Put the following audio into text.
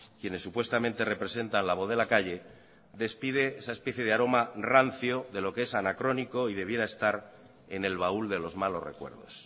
quienes supuestamente representan la voz de la calle despide esa especie de aroma rancio de lo que es anacrónico y debiera estar en el baúl de los malos recuerdos